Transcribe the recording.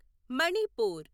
Manipur